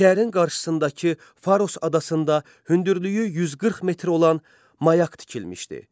Şəhərin qarşısındakı Faros adasında hündürlüyü 140 metr olan mayak tikilmişdi.